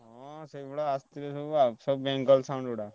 ହଁ ସେଇଭଳିଆ ଆସିଥିଲେ ସବୁ ଆଉ ସବୁ ବେଙ୍ଗଲ୍ sound ଗୁଡା।